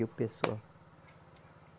E o pessoal.